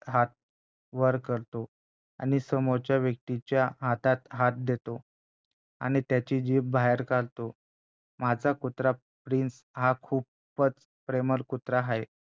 हात वर करतो आणि समोरच्या व्यक्तीच्या हातात हात देतो आणि त्याची जीभ बाहेर काढतो माझा कुत्रा प्रिन्स हा खूपचं प्रेमळ कुत्रा आहे